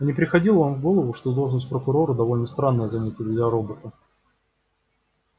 а не приходило вам в голову что должность прокурора довольно странное занятие для робота